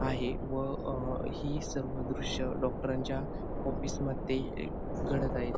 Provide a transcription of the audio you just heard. आहे व अह ही सर्व दृश्य डॉक्टरांच्या ऑफिस मध्ये घडत आहेत.